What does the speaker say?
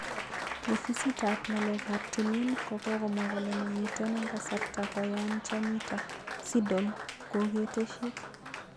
Ofisit ap ngalek ap timin ko komwa kole mamiten eng kasarta koyan chanito,"siddle kokoteshik